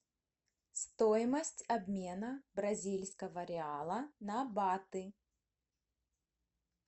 стоимость обмена бразильского реала на баты